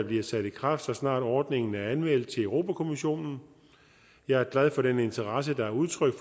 bliver sat i kraft så snart ordningen er anmeldt til europa kommissionen jeg er glad for den interesse der er udtrykt